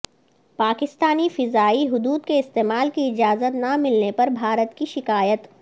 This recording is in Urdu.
پاکستانی فضائی حدود کے استعمال کی اجازت نہ ملنے پر بھارت کی شکایت